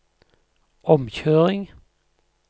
omkjøring